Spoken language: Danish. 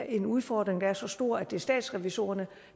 en udfordring der er så stor at det er statsrevisorerne